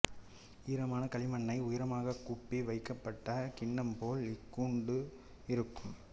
ஈரமான களிமண்ணைக் உயரமாகக் கூப்பி வைக்கப்பட்ட கிண்ணம்போல் இதன் கூடு இருக்கும்